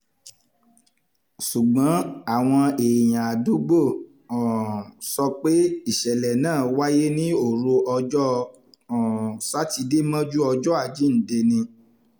ṣùgbọ́n àwọn èèyàn àdúgbò náà um sọ pé ìṣẹ̀lẹ̀ náà wáyé ní òru ọjọ́ um sátidé mọ́jú ọjọ́ àjíǹde ni